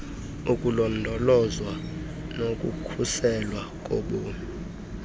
ukulondolozwa nokukhuselwa kobomi